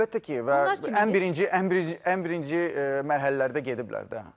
Əlbəttə ki, və ən birinci, ən birinci mərhələlərdə gediblər də.